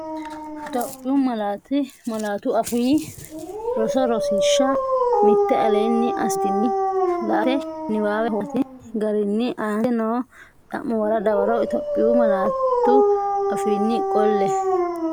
Itophiyu Malaatu Afii Roso Rosiishsha Mite Aleenni assitini la”ate niwaawe huwattini garinni aante noo xa’muwara dawaro Itophiyu malaatu afiinni qolle, neeti?